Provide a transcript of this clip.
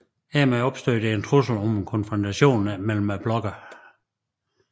Hermed opstod der en trussel om en konfrontation mellem blokkene